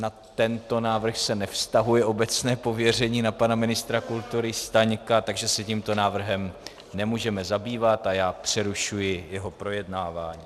Na tento návrh se nevztahuje obecné pověření na pana ministra kultury Staňka, takže se tímto návrhem nemůžeme zabývat a já přerušuji jeho projednávání.